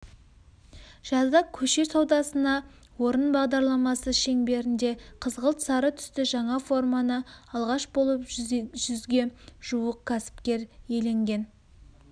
жазда көше саудасына орын бағдарламасы шеңберінде қызғылт-сары түсті жаңа форманы алғаш болып жүзге жуық кәсіпкер иеленген